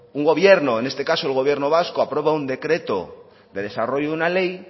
un gobierno en este caso el gobierno vasco aprueba un decreto de desarrollo de una ley